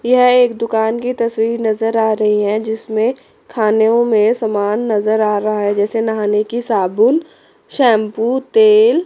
यह एक दुकान की तस्वीर नजर आ रही है जिसमें खानो में सामान नजर आ रहा है जैसे नहाने की साबुन शैंपू तेल।